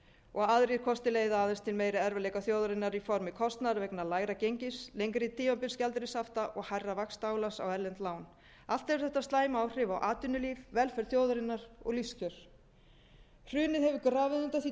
og aðrir kostir leiða aðeins til meiri erfiðleika þjóðarinnar í formi kostnaðar vegna lægra gengis lengri tímabilsgjaldeyrishafta og hærra vaxtaálags á erlend lán allt hefur þetta slæm áhrif á atvinnulíf velferð þjóðarinnar og lífskjör hrunið hefur grafið undan því trausti sem